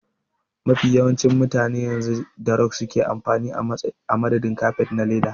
Mafi yawancin mutane yanzu da rog suke amfani a madadin kafet na leda.